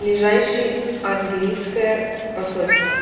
ближайший английское посольство